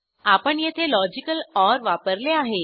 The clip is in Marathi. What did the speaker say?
आपण येथे लॉजिकल ओर वापरले आहे